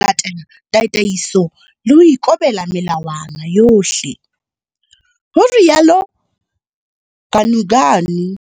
Tataiso le ho ikobela melawana yohle, ho rialo Ganuganu.